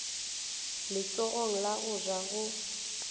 letsogong la go ja go